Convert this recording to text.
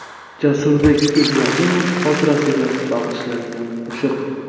Jasurbek Ibrohimov xotirasiga bag‘ishlangan qo‘shiq.